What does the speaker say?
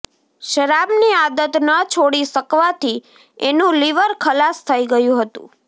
શરાબની આદત ન છોડી શકવાથી એનું લિવર ખલાસ થઈ ગયું હતું